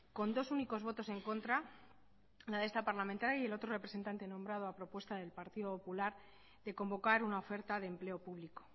con dos únicos votos en contra la de esta parlamentaria y el otro representante nombrado a propuesta del partido popular de convocar una oferta de empleo público